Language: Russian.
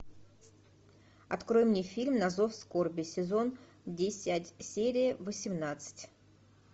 открой мне фильм на зов скорби сезон десять серия восемнадцать